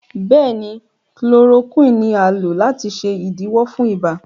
béèni Chloroquine ní a lò láti ṣe idiwọ fún ibà.